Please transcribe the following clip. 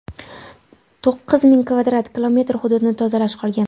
To‘qqiz ming kvadrat kilometr hududni tozalash qolgan.